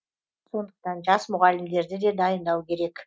сондықтан жас мұғалімдерді де дайындау керек